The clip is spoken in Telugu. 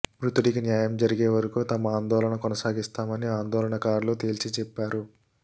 మృతుడికి న్యాయం జరిగే వరకు తమ ఆందోళన కొనసాగిస్తామని ఆందోళనకారులు తేల్చి చెప్పారు